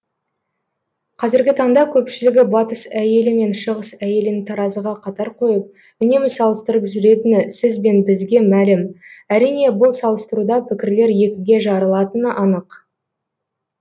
қазіргі таңда көпшілігі батыс әйелі мен шығыс әйелін таразыға қатар қойып үнемі салыстырып жүретіні сіз бен бізге мәлім әрине бұл салыстыруда пікірлер екіге жарылатыны анық